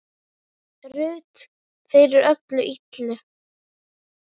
Ruth fyrir öllu illu.